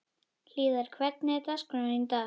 Hlíðar, hvernig er dagskráin í dag?